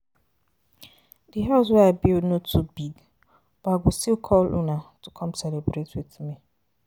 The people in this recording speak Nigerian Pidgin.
Di house wey I build no too big but I go still call una to to come celebrate with me.